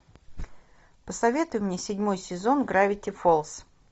посоветуй мне седьмой сезон гравити фолз